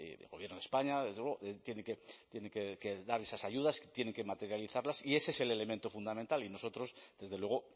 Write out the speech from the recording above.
el gobierno de españa desde luego tienen que dar esas ayudas tienen que materializarlas y ese es el elemento fundamental y nosotros desde luego